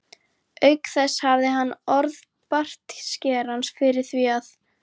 Auk þess hafði hann orð bartskerans fyrir því að